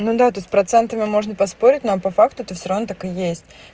ну да то есть с процентами можно поспорить но по факту это всё равно так и есть